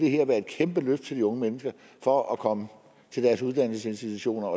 være et kæmpe løft til de unge mennesker for at komme til deres uddannelsesinstitutioner